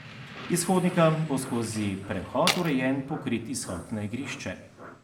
Iz hodnika bo skozi prehod urejen pokrit izhod na igrišče.